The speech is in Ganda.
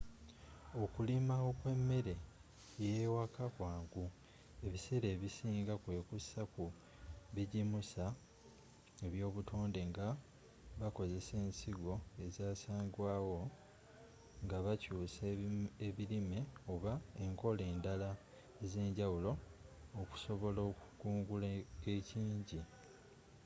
okulima okw'emmere ey'ewaka kwangu ebiseera ebisinga kwekuusa ku bijimusa eby'obutonde nga bakozesa ensigo ezasangwawo nga bakyuusa ebirime oba enkola endala ez'enjawulo okusobola okukungula ekingi